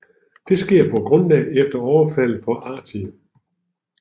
Det sker på grundlag efter overfaldet på Artie